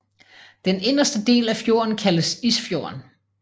Den inderste del af fjorden kaldes Isfjorden